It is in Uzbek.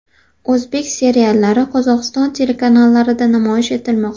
O‘zbek seriallari Qozog‘iston telekanallarida namoyish etilmoqda.